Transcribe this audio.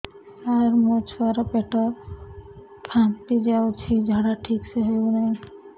ସାର ମୋ ଛୁଆ ର ପେଟ ଫାମ୍ପି ଯାଉଛି ଝାଡା ଠିକ ସେ ହେଉନାହିଁ